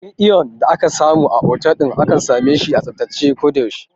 Wurin iyon da ake samu a otal akan same shi a tsaftace a ko da yaushe